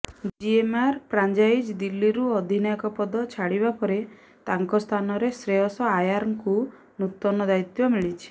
GMR franchise ଦିଲ୍ଲୀରୁ ଅଧିନାୟକ ପଦ ଛାଡ଼ିବା ପରେ ତାଙ୍କ ସ୍ଥାନରେ ଶ୍ରେୟସ ଆୟାରଙ୍କୁ ନୂତନ ଦାୟିତ୍ୱ ମିଳିଛି